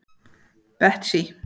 Betsý